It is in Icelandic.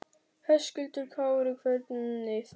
Höskuldur Kári: Hvernig þá?